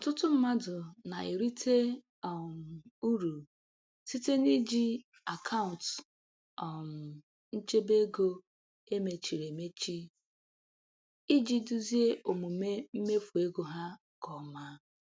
Ọtụtụ mmadụ na-erite um uru site n’iji akaụntụ um nchebe ego e mechiri emechi iji duzie omume mmefu ego ha nke ọma.